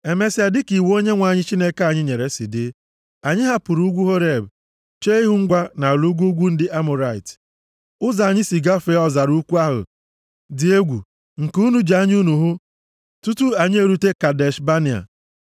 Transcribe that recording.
Emesịa, dịka iwu Onyenwe anyị Chineke anyị nyere si dị, anyị hapụrụ ugwu Horeb, chee ihu gawa nʼala ugwu ugwu ndị Amọrait. Ụzọ anyị si gafee ọzara ukwu ahụ dị egwu nke unu ji anya unu hụ tutu anyị erute Kadesh Banea.